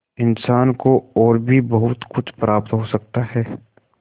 इंसान को और भी बहुत कुछ प्राप्त हो सकता है